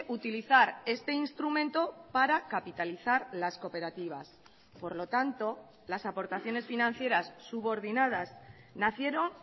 utilizar este instrumento para capitalizar las cooperativas por lo tanto las aportaciones financieras subordinadas nacieron